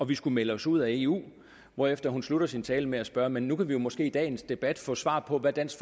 vi skulle melde os ud af eu hvorefter hun sluttede sin tale med at spørge men nu kan vi måske i dagens debat få svar på hvad dansk